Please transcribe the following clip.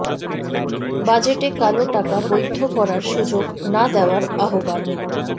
বাজেটে কালো টাকা বৈধ করার সুযোগ না দেওয়ার আহ্বান